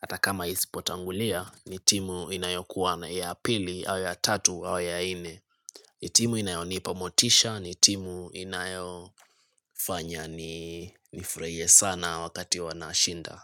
Hata kama isipotangulia, ni timu inayokuwa na ya pili au ya tatu au ya ine. Ni timu inayonipa motisha, ni timu inayo fanya ni nifraie sana wakati wanashinda.